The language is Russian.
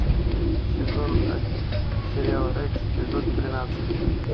сезон один сериал рекс эпизод тринадцать